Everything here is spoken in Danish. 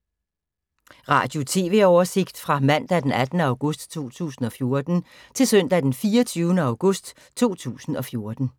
Radio/TV oversigt fra mandag d. 18. august 2014 til søndag d. 24. august 2014